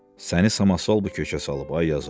Səni samasval bu kökə salıb ay yazıq.